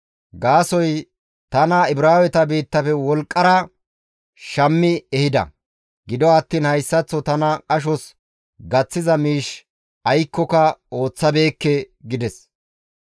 gaasoykka tana Ibraaweta biittafe wolqqara shammi ehida; gido attiin hayssaththo tana qashos gaththiza miish aykkoka ooththabeekke» gides.